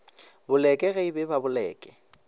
boleke ge e ba boleke